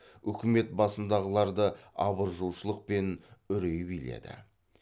үкімет басындағыларды абыржушылық пен үрей биледі